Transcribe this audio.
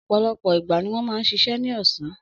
Ọ̀pọ̀lọpọ̀ ìgbà ni wọ́n máa ń ṣiṣẹ́ ní ọ̀sán.